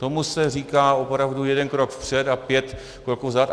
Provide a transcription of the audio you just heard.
Tomu se říká opravdu jeden krok vpřed a pět kroků vzad.